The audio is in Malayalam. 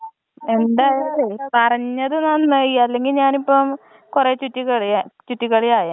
എന്തയാലും പറഞ്ഞത് നന്നായി അല്ലെങ്കി ഞാനിപ്പോ കൊറേ ചുറ്റി കഴിയാൻ ചുറ്റി കളി ആയെന്നെ